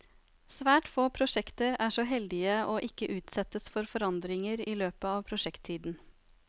Svært få prosjekter er så heldig å ikke utsettes for forandringer i løpen av prosjekttiden.